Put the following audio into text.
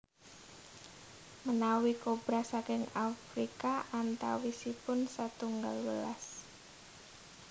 Menawi kobra saking Afrika antawisipun setunggal welas